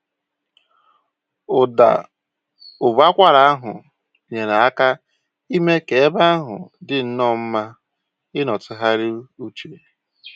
Ụda ụbọakwara ahụ nyere aka ime k'ebe ahụ dịnnọ mma ịnọ tụgharịa uche